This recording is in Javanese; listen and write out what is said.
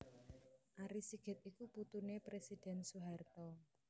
Ari Sigit iku putuné Presiden Soeharto